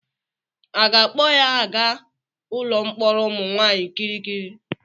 A ga-akpọ ya aga ụlọ mkpọrọ ụmụ nwaanyị Kirikiri?